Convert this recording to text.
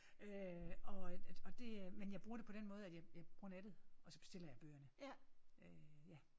Øh og og det men jeg bruger det den måde at jeg jeg bruger nettet og så bestiller jeg bøgerne øh ja